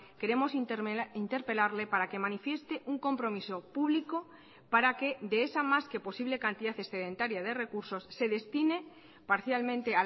queremos interpelarle para que manifieste un compromiso público para que de esa más que posible cantidad excedentaria de recursos se destine parcialmente